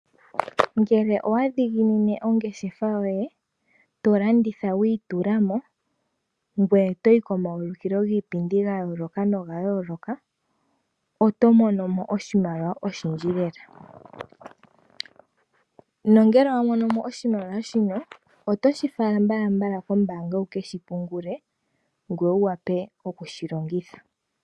Ngele owadhiginine ongeshefa yoye tolanditha wiitula mo ngweye toyi komaulikilo giipindi gayooloka noga yooloka, otomono mo moshimaliwa oshindji lela, nongele wamono mo oshimaliwa shino otoshi fala mbalambala kombaanga wukeshi pungule ngoye wuwape okushi longitha.